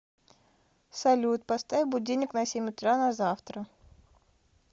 салют поставь будильник на семь утра на завтра